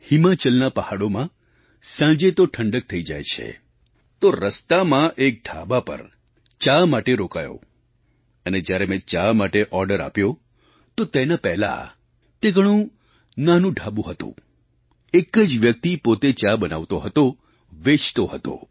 હિમાચલના પહાડોમાં સાંજે તો ઠંડક થઈ જાય જ છે તો રસ્તામાં એક ઢાબા પર ચા માટે રોકાયો અને જ્યારે મેં ચા માટે ઑર્ડર આપ્યો તો તેના પહેલાં તે ઘણું નાનું ઢાબું હતું એક જ વ્યક્તિ પોતે ચા બનાવતો હતો વેચતો હતો